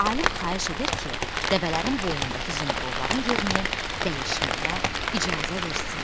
Alim xahiş edir ki, dəvələrin boynundakı zınqırovların yerini dəyişməyə icazə versin.